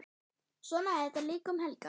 Svona er þetta líka um helgar.